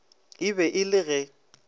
e be e le ge